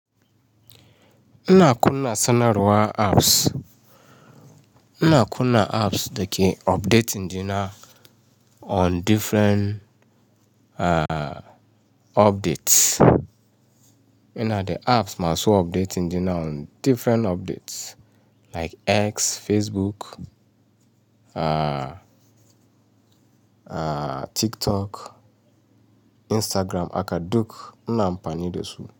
Ina kunna sanarwa apps. Ina kunna apps dake updating dina on different updates. Ina the apps ma su updating ɗina on different updates like X, Facebook, TikTok, Instagram aka duk ina ampani dasu.